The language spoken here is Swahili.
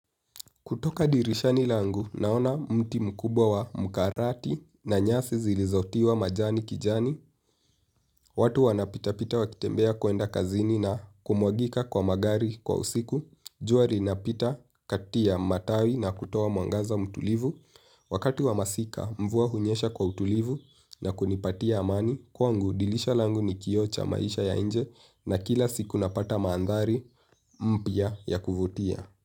Kutoka dirishani langu naona mti mkubwa wa mkarati na nyasi zilizotiwa majani kijani. Watu wanapita pita wakitembea kuenda kazini na kumwagika kwa magari kwa usiku. Jua linapita kati ya matawi na kutoa mwangaza mtulivu. Wakati wa masika mvua hunyesha kwa utulivu na kunipatia amani. Kwangu dilisha langu ni kioo cha maisha ya nje na kila siku napata maandhari mpya ya kuvutia.